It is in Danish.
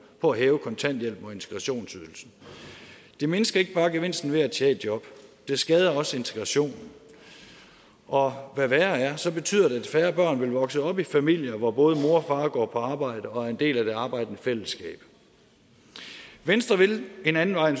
på at hæve kontanthjælpen og integrationsydelsen det mindsker ikke bare gevinsten ved at tage et job det skader også integrationen og hvad værre er så betyder det at færre børn vil vokse op i familier hvor både mor og går på arbejde og er en del af det arbejdende fællesskab venstre vil en ande vej